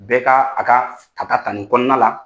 Bɛɛ ka a ka ta ta ni kɔnɔna la